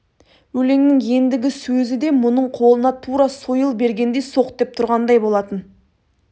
өлеңнің ендігі сөзі де мұның қолына тура сойыл бергендей соқ деп тұрғандай болатын